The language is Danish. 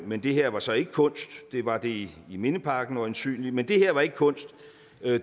men det her var så ikke kunst det var det i mindeparken øjensynlig men det her var ikke kunst